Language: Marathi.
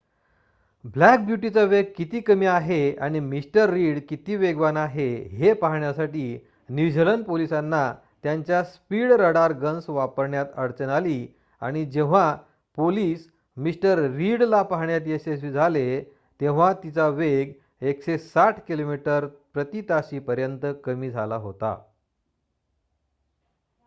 ब्लॅक ब्यूटीचा वेग किती कमी आहे आणि मिस्टर रीड किती वेगवान आहे हे पाहण्यासाठी न्यूझीलंड पोलिसांना त्यांच्या स्पीड रडार गन्स वापरण्यात अडचण आली आणि जेव्हा पोलिस मिस्टर रीडला पाहण्यात यशस्वी झाले तेव्हा तिचा वेग 160 किमी/ताशी पर्यंत कमी झाला होता